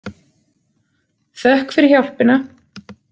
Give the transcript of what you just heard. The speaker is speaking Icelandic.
Þökk fyrir hjálpina.